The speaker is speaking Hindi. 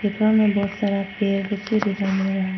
कमरा में बहुत सारा पेड़ भी दिखाई दे रहा है।